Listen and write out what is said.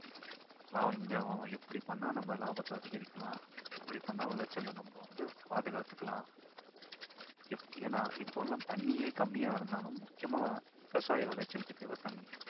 இந்த எப்படி பண்ணா நம்ம லாபத்தை அதிகரிக்கலாம் எப்படி பண்ணா விளைச்சலை நம்ம வந்து பாதுகாத்துக்கலாம் ஏன்னா இப்பபெல்லாம் தண்ணியே கம்மியா இருந்தாலும் முக்கியமா விவசாய விளைச்சலுக்கு தேவை தண்ணி